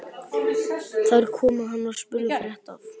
Þar kom að hann var spurður frétta af